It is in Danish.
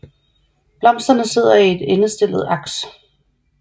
Blomsterne sidder i et endestillet aks